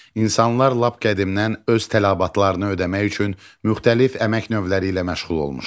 İnsanlar lap qədimdən öz tələbatlarını ödəmək üçün müxtəlif əmək növləri ilə məşğul olmuşlar.